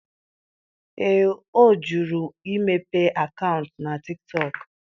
Ee, ọ jụrụ imepe akaụntụ na Tiktọk.